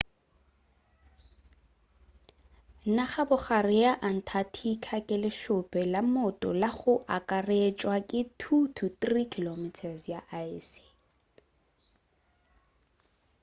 nagabogare ya antarctica ke lešope la mmoto la go akaretšwa ke 2-3km ya aese